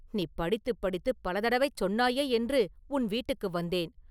நீ படித்துப் படித்துப் பல தடவை சொன்னாயே என்று உன் வீட்டுக்கு வந்தேன்.